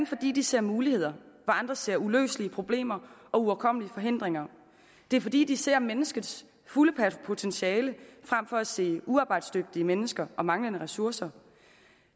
fordi de ser muligheder hvor andre ser uløselige problemer og uoverkommelige forhindringer det er fordi de ser menneskets fulde potentiale frem for at se uarbejdsdygtige mennesker og manglende ressourcer